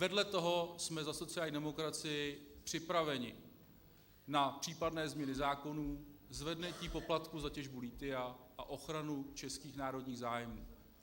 Vedle toho jsme za sociální demokracii připraveni na případné změny zákonů, zvednutí poplatků za těžbu lithia a ochranu českých národních zájmů.